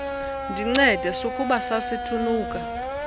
ndincede sukuba sasithunuka